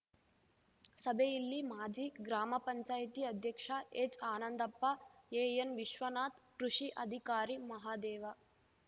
ಸಭೆಯಲ್ಲಿ ಮಾಜಿ ಗ್ರಾಮ ಪಂಚಾಯತಿ ಅಧ್ಯಕ್ಷ ಎಚ್‌ಆನಂದಪ್ಪ ಎಎನ್‌ವಿಶ್ವನಾಥ್‌ ಕೃಷಿ ಅಧಿಕಾರಿ ಮಹದೇವ